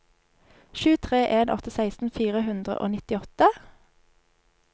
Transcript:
sju tre en åtte seksten fire hundre og nittiåtte